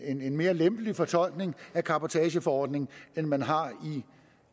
en en mere lempelig fortolkning af cabotageforordningen end man har i